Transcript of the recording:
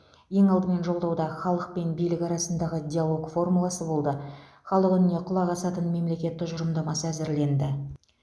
ең алдымен жолдауда халық пен билік арасындағы диалог формуласы болды халық үніне құлақ асатын мемлекет тұжырымдамасы әзірленді